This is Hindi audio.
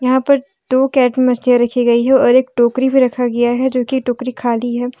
यहां पर दो रखी गई है और एक टोकरी भी रखा गया है जो कि टोकरी खाली है।